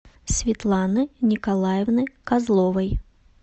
светланы николаевны козловой